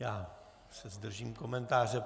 Já se zdržím komentáře.